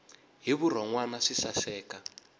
hi vurhon wana swi saseka